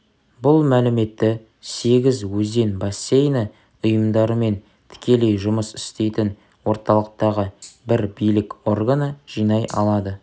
бұл мәліметті сегіз өзен бассейні ұйымдарымен тікелей жұмыс істейтін орталықтағы бір билік органы жинай алады